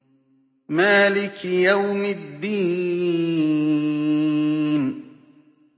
مَالِكِ يَوْمِ الدِّينِ